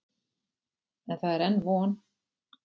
En það er enn von.